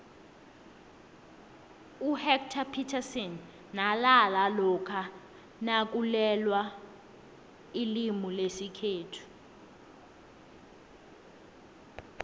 uhectarr phithasini nalala lokha nakulwelwailimulesikhethu